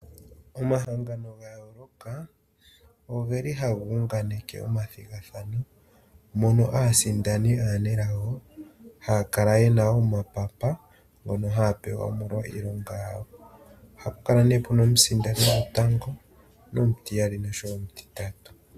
Omahangano ga yooloka ohaga unganeke omathigathano mono aasindani aanelago haya kala ye na omapapa ngono haya pewa omolwa iilonga yawo. Ohapu kala nee pu na omusindani gotango nomutiyali nosho wo omutitatu.